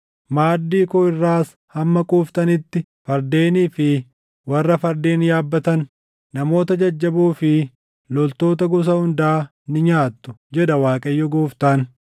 Maaddii koo irraas hamma quuftanitti fardeenii fi warra fardeen yaabbatan, namoota jajjaboo fi loltoota gosa hundaa ni nyaattu’ jedha Waaqayyo Gooftaan.